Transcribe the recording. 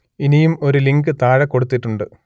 ഇനിയും ഒരു ലിങ്ക് താഴെ കൊടുത്തിട്ടുണ്ട്